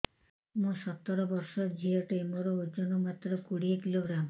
ମୁଁ ସତର ବର୍ଷ ଝିଅ ଟେ ମୋର ଓଜନ ମାତ୍ର କୋଡ଼ିଏ କିଲୋଗ୍ରାମ